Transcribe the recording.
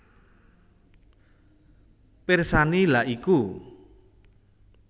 Pirsani lha iku